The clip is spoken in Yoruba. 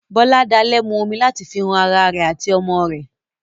Boladale mu omi láti fi ran ará rẹ àti ọmọ rẹ.